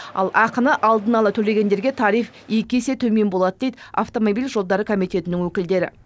ал ақыны алдын ала төлегендерге тариф екі есе төмен болады дейді автомобиль жолдары комитетінің өкілдері